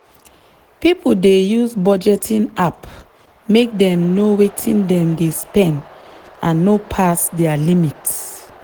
people dey use budgeting app make dem know wetin dem dey spend and no pass their limit.